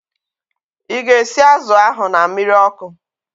Ị ga-esi azụ ahu na mmiri ọkụ?